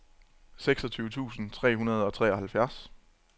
seksogtyve tusind tre hundrede og treoghalvfjerds